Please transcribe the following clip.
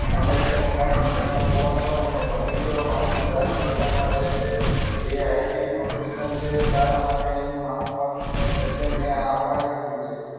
અમેરિકાથી મારા મિત્ર નો ફોન હતો એનો ભત્રીજો માસૂમ રાજપીપળામાં રહે છે એ આઇઆઇટી પ્રોફેસર છે તારા માટે એનું માંગુ આવ્યું એટલે મે હા પાડી દીધી છે